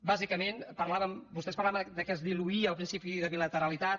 bàsicament vostès parlaven del fet que es diluïa el principi de bilateralitat